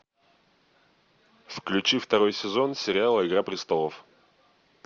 включи второй сезон сериала игра престолов